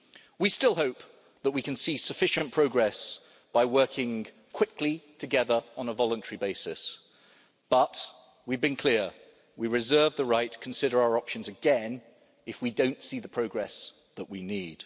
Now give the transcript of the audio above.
We still hope that we can see sufficient progress by working quickly together on a voluntary basis, but we've been clear that we reserve the right to consider our options again if we don't see the progress that we need.